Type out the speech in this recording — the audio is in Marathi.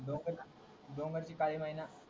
डोंगरची काली मैना